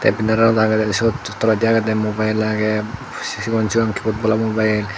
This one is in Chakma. benar an legele siot toledi agede mobiel agey si sigon sigon kipad bola mobiel.